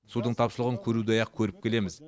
судың тапшылығын көрудей ақ көріп келеміз